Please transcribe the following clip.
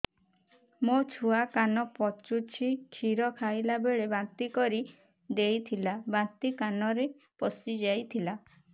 ମୋ ଛୁଆ କାନ ପଚୁଛି କ୍ଷୀର ଖାଇଲାବେଳେ ବାନ୍ତି କରି ଦେଇଥିଲା ବାନ୍ତି କାନରେ ପଶିଯାଇ ଥିଲା